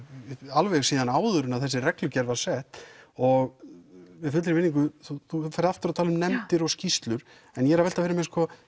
alveg áður en þessi reglugerð var sett og með fullri virðingu þú þú ferð aftur að tala um nefndir og skýrslur en ég er að velta fyrir mér sko